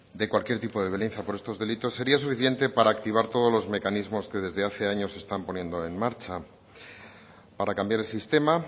de cualquier tipo de violencia por estos delitos sería suficiente para activar todos los mecanismos que desde hace años están poniendo en marcha para cambiar el sistema